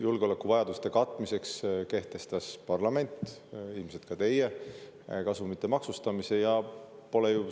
Julgeolekuvajaduste katmiseks kehtestas parlament, ilmselt sealhulgas ka teie, kasumi maksustamise.